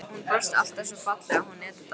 Hún brosti alltaf svo fallega, hún Edita.